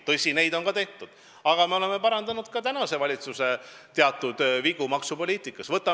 Tõsi, neid on ka tehtud, aga me oleme parandanud ka praeguse valitsuse teatud vigu maksupoliitikas.